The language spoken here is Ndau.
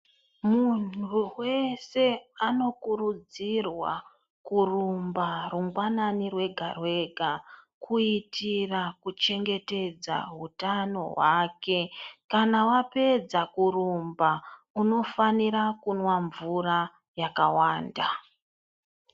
Munhu wese anokurudzirwa kurumba rungwanani rwega rwega, kuyitira kuchengetedza wutano wake. Kana wapedza kurumba, unofanira kunwa mvura yakawanda.